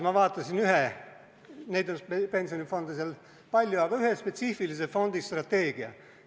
Ma vaatasin Rootsi ühe spetsiifilise fondi strateegiat.